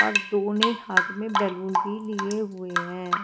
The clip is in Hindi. और दोने हाथ में बैलून के लिए हुए हैं।